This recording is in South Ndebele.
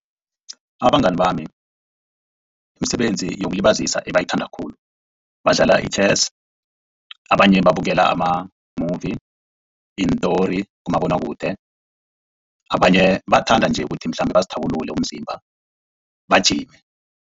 Abangani bami imisebenzi yokulibazisa abayithanda khulu badlala i-chess abanye babukela ama-movie iintori kumabonakude abanye bathanda nje ukuthi mhlambe bazithabulule umzimba bagijime.